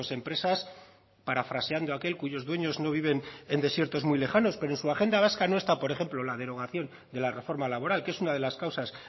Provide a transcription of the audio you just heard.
empresas parafraseando aquel cuyos dueños no viven en desiertos muy lejanos pero en su agenda vasca no está por ejemplo la derogación de la reforma laboral que es una de las causas